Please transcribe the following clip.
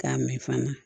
K'a mɛn fana